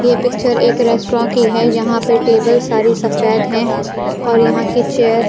ये पिक्चर एक रेस्ट्रऑन की है यहां पर टेबल सारी सफेद हैं और यहां की चेयर --